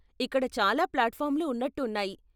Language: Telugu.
ఇక్కడ చాలా ప్లాట్ఫార్మ్లు ఉన్నట్టు ఉన్నాయి.